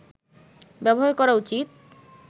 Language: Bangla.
ব্যবহার করা উচিৎ